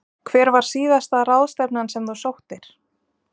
Hver var síðasta ráðstefnan sem þú sóttir?